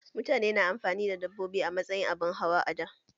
Mutane na amfani da dabbobi a matsayin abin hawa a da